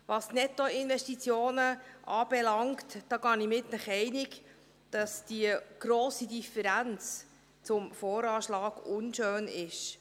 Was die Nettoinvestitionen anbelangt, gehe ich mit Ihnen einig, dass die grosse Differenz gegenüber dem VA unschön ist.